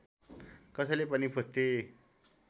कसैले पनि पुष्टि